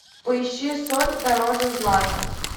поищи соль дороже злата